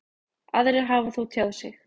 Aðrir hafi þó tjáð sig.